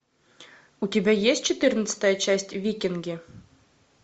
у тебя есть четырнадцатая часть викинги